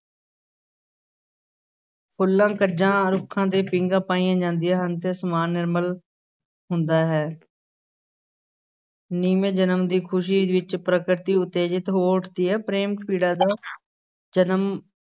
ਫੁੱਲਾਂ ਕੱਜਾਂ ਰੁੱਖਾਂ 'ਤੇ ਪੀਂਘਾਂ ਪਾਈਆਂ ਜਾਂਦੀਆਂ ਹਨ ਤੇ ਅਸਮਾਨ ਨਿਰਮਲ ਹੁੰਦਾ ਹੈ ਨਵੇਂ ਜਨਮ ਦੀ ਖ਼ੁਸ਼ੀ ਵਿਚ ਪ੍ਰਕਿਰਤੀ ਉਤੇਜਿਤ ਹੋ ਉੱਠਦੀ ਹੈ ਪ੍ਰੇਮ-ਪੀੜਾ ਦਾ ਜਨਮ